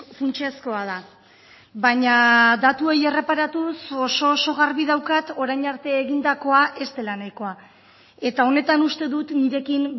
funtsezkoa da baina datuei erreparatuz oso oso garbi daukat orain arte egindakoa ez dela nahikoa eta honetan uste dut nirekin